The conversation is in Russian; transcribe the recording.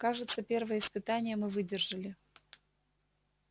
кажется первое испытание мы выдержали